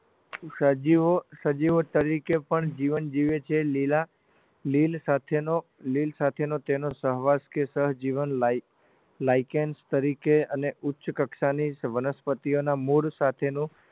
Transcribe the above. સજીવો સજીવો તરીકે પણ જીવન જીવે છે લીલા લીલ સાથેનો લીલ સાથેનો તેનો સહવાસ કે સહજીવન lichens તરીકે અને ઉચ્ચ કક્ષાની વનસ્પતિઓના મૂળ સાથેનો